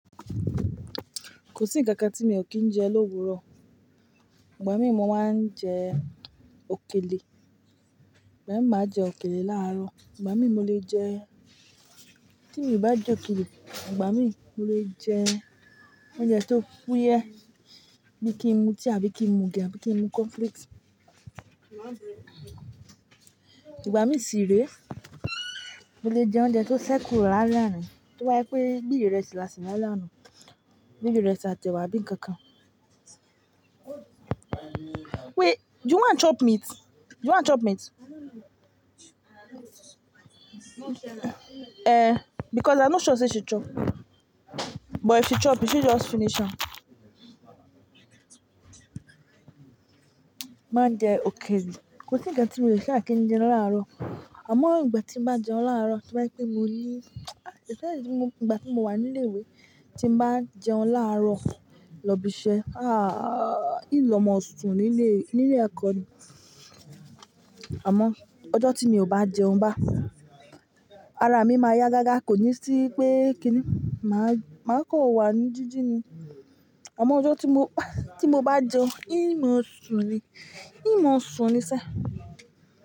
Kò sí nǹkan kan tí mi ò kìí ń jẹ l'ọ́wọ̀ọ́rọ̀. Ìgbà mí mo máa ń jẹ òkèlè, ìgbà mi máa jẹ òkèlè láàrọ̀, ìgbà mi mo lè jẹ, tí mi bá jẹ òkèlè, ìgbà mi mo lè jẹ oúnjẹ tó fú yẹ, bí kí n mu tíì àbí kí n mu ògì àbí kí n mu cornflakes. Ìgbà mí sì ré, mo lè jẹ oúnjẹ tó ṣẹ́kù lálẹ́ àná, tí ó bá jẹ́ pé bí ìṣẹ́sí la ṣe lálẹ́ àná, bí ìrẹ́sì àti ẹ̀wà àbí nǹkan kan. Wait, do you want to chop meat? Do you want to chop meat? Eh, because I'm not sure say she chop, but if she chop, you should just finish am. Máa jẹ òkèlè. Kò sí ǹkan tí mo lè ṣẹ́ kí ń jẹ láàrọ̀. Àmọ́ ìgbà tí mo bá jẹun láàrọ̀, tí wá yẹ pé mo ní, ìṣe ẹni tí mo, ìgbà tí mo wà ní ilé ìwé, tí mo bá jẹun láàrọ̀ lọ ibi iṣẹ́, ah, yìí ló mọ̀ ọ̀sùn nílé, nílé ẹ̀kọ́ ni. Àmọ́ ọjọ́ tí mi ò bá jẹun bá, ara mi máa yá gágá, kò ní sí pé kí ni, màá, màá kọ wà ní jíjí ni. Àmọ́ ọjọ́ tí mo, tí mo bá jẹun, yìí mọ̀ ọ̀sùn ni, yìí mọ̀ ọ̀sùn ni iṣẹ́.